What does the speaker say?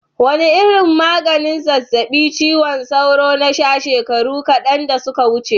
Wane irin maganin zazzabin cizon sauro na sha shekaru kadan da suka wuce?